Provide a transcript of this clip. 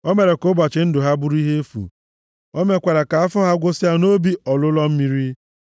O mere ka ụbọchị ndụ ha bụrụ ihe efu. O mekwara ka afọ ha gwụsịa nʼobi ọlụlọ mmiri.